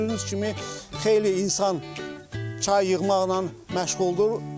Gördüyünüz kimi xeyli insan çay yığmaqla məşğuldur.